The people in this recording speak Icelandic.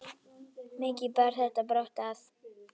Mikið bar þetta brátt að.